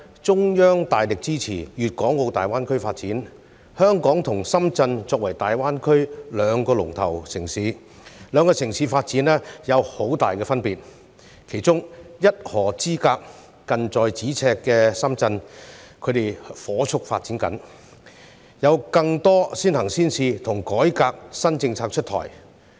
中央大力支持粤港澳大灣區發展，香港和深圳作為大灣區兩個"龍頭"城市，兩個城市的發展有很大分別，其中一河之隔、近在咫尺的深圳正火速發展，有更多先行先試和改革新政策出台。